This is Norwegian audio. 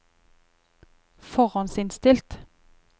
forhåndsinnstilt